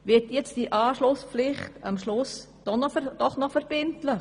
Wird sie nun doch noch verbindlich?